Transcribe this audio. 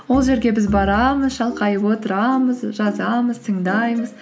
ол жерге біз барамыз шалқайып отырамыз жазамыз тыңдаймыз